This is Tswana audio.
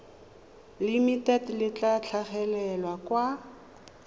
limited le tla tlhagelela kwa